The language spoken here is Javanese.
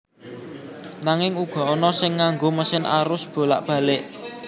Nanging uga ana sing nganggo mesin arus bolak balik